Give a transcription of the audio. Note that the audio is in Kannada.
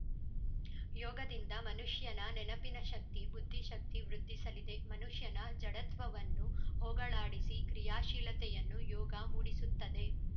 ಯೋಗದಿಂದ ಮನುಷ್ಯನ ನೆನಪಿನ ಶಕ್ತಿ ಬುದ್ಧಿಶಕ್ತಿ ವೃದ್ಧಿಸಲಿದೆ ಮನುಷ್ಯನ ಜಡತ್ವವನ್ನು ಹೋಗಲಾಡಿಸಿ ಕ್ರಿಯಾಶೀಲತೆಯನ್ನು ಯೋಗ ಮೂಡಿಸುತ್ತದೆ